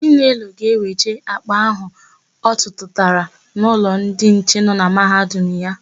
Chinelo ga-eweje àkpà áhụ̀ ọ tụtara n'ụlọ ndị nche nọ na Mahadum ya.